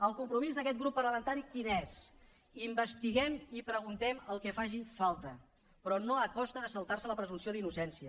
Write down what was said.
el compromís d’aquest grup parlamentari quin és investiguem i preguntem el que faci falta però no a costa de saltar se la presumpció d’innocència